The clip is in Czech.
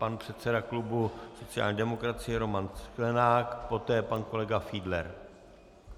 Pan předseda klubu sociální demokracie Roman Sklenák, poté pan kolega Fiedler.